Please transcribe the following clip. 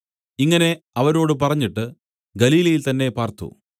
ഇങ്ങനെ അവരോട് പറഞ്ഞിട്ട് ഗലീലയിൽ തന്നേ പാർത്തു